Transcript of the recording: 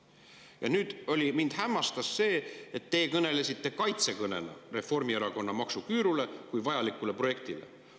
Ja nüüd mind hämmastas see, et teie kõnega Reformierakonna maksuküüru kui vajaliku projekti kaitseks.